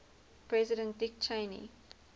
president dick cheney